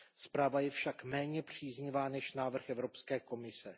Zpráva je však méně příznivá než návrh Evropské komise.